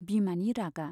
बिमानि रागा।